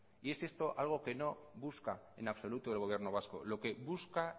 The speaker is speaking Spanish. y es esto algo que no busca en absoluto al gobierno vasco lo que busca